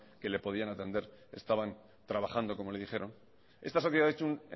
que le podían atender estaban trabajando como le dijeron esta sociedad ha hecho un